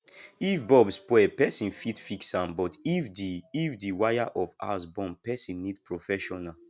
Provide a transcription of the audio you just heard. if bulb spoil person fit fix am but if the if the wire of house burn person need professional